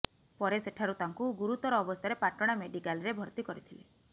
ପରେ ସେଠାରୁ ତାଙ୍କୁ ଗୁରୁତର ଅବସ୍ଥାରେ ପାଟଣା ମେଡ଼ିକାଲରେ ଭର୍ତ୍ତି କରିଥିଲେ